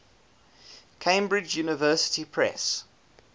cambridge university press